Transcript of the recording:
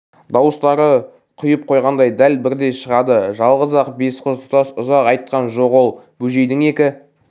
дауыстары құйып қойғандай дәл бірдей шығады жалғыз-ақ бес қыз тұтас ұзақ айтқан жоқ ол бөжейдің екі